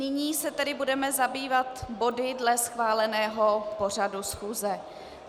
Nyní se tedy budeme zabývat body dle schváleného pořadu schůze.